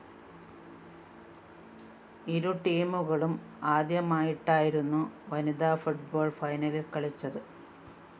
ഇരു ടീമുകളും ആദ്യമായിട്ടായിരുന്നു വനിതാ ഫുട്ബോൾ ഫൈനലിൽ കളിച്ചത്